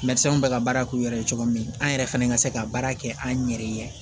bɛ ka baara k'u yɛrɛ ye cogo min an yɛrɛ fɛnɛ ka se ka baara kɛ an yɛrɛ ye